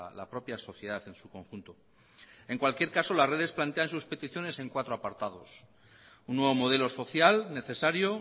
la propia sociedad en su conjunto en cualquier caso las redes plantea en sus peticiones en cuatro apartados un nuevo modelo social necesario